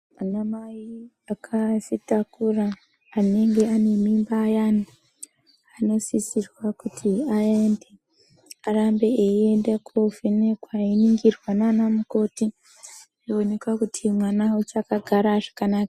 Ana mai akazvitakura anenge ane mimba ayani anosisirwa kuti aende, arambe eienda kovhenekwa einingirwa nana mukoti ,eionekwa kuti mwana uchakagara zvakanaka ere.